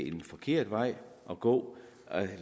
en forkert vej at gå altså